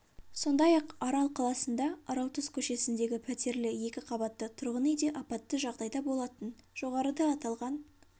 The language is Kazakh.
сондай-ақ арал қаласында аралтұз көшесіндегі пәтерлі екі қабатты тұрғын үй де апатты жағдайда болатын жоғарыда аталған